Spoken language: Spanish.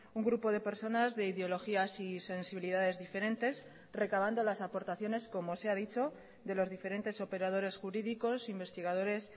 un grupo de personas de ideologías y sensibilidades diferentes recabando las aportaciones como se ha dicho de los diferentes operadores jurídicos investigadores